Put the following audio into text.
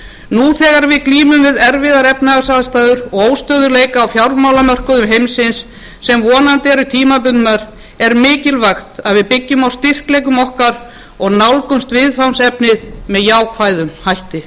nú þegar við glímum við erfiðar efnahagsaðstæður og óstöðugleika á fjármálamörkuðum heimsins sem vonandi eru tímabundnar er mikilvægt að við byggjum á styrkleikum okkar og nálgumst viðfangsefnið með jákvæðum hætti